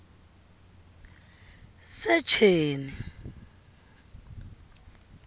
secheni